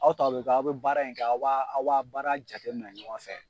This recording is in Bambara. Aw taw bɛ kɛ aw bɛ baara in kɛ aw ba aw ba baara jate minɛ ɲɔgɔn fɛ.